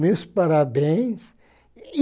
Meus parabéns.